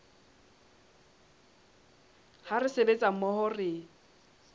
ha re sebetsa mmoho re